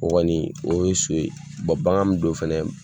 O kɔni o ye so ye, bagan min don fɛnɛ